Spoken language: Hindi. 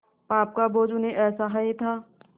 पाप का बोझ उन्हें असह्य था